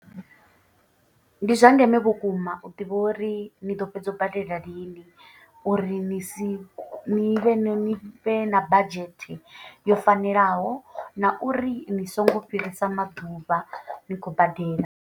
Ndi zwa ndeme vhukuma u ḓivha uri ni ḓo fhedza u badela lini. Uri ni si ni vhe ni vhe na budget yo fanelaho na uri ni songo fhirisa maḓuvha ni khou badela.